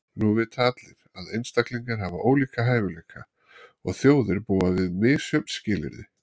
Nú vita allir, að einstaklingar hafa ólíka hæfileika, og þjóðir búa við misjöfn skilyrði.